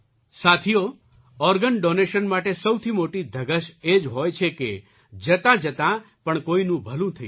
સાથીઓ organ donation માટે સૌથી મોટી ધગશ એ જ હોય છે કે જતાંજાં પણ કોઈનું ભલું થઈ જાય